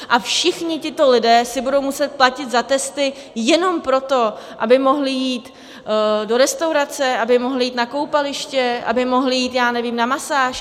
A všichni tito lidé si budou muset platit za testy jenom proto, aby mohli jít do restaurace, aby mohli jít na koupaliště, aby mohli jít, já nevím, na masáž?